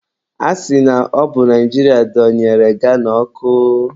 A sị na ọbụ Naijiria donyere Ghana ọkụ.